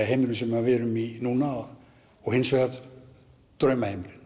heimurinn sem við erum í núna og hins vegar